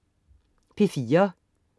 P4: